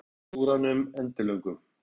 Hann horfði eftir símstjóranum endilöngum.